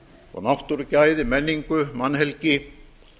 og náttúrugæði menningu mannhelgi